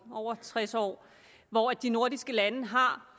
over tres år hvor de nordiske lande har